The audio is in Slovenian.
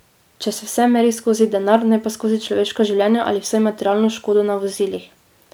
Če se vse meri skozi denar, ne pa skozi človeška življenja ali vsaj materialno škodo na vozilih.